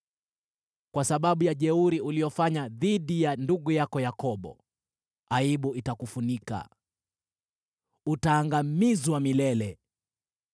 Kwa sababu ya jeuri uliyofanya dhidi ya ndugu yako Yakobo, aibu itakufunika; utaangamizwa milele.